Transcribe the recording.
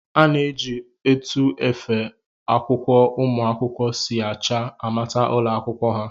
A na-eji etu efe akwụkwọ ụmụ akwụkwọ si acha amata ụlọakwụkwọ ha